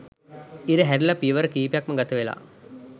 ඉර හැරිලා පියවර කීපයක්ම ගතවෙලා